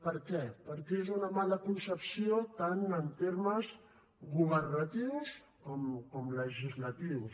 per què perquè és una mala concepció tant en termes governatius com legislatius